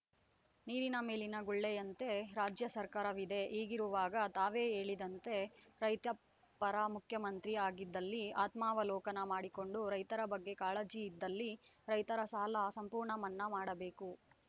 ನೀರಿನ ಮೇಲಿನ ಗುಳ್ಳೆಯಂತೆ ರಾಜ್ಯ ಸರ್ಕಾರವಿದೆ ಹೀಗಿರುವಾಗ ತಾವೇ ಹೇಳಿದಂತೆ ರೈತಪರ ಮುಖ್ಯಮಂತ್ರಿ ಆಗಿದ್ದಲ್ಲಿ ಆತ್ಮಾವಲೋಕನ ಮಾಡಿಕೊಂಡು ರೈತರ ಬಗ್ಗೆ ಕಾಳಜಿ ಇದ್ದಲ್ಲಿ ರೈತರ ಸಾಲ ಸಂಪೂರ್ಣ ಮನ್ನಾ ಮಾಡಬೇಕು